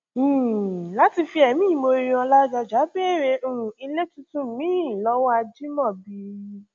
um láti fi ẹmí ìmoore hàn ládọjá béèrè um ilé tuntun miín lọwọ ajimobi